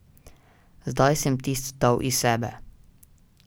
Zdaj sem tisto dal iz sebe.